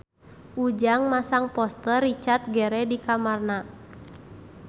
Ujang masang poster Richard Gere di kamarna